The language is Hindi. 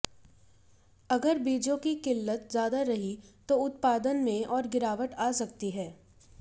अगर बीजों की किल्लत ज्यादा रही तो उत्पादन में और गिरावट आ सकती है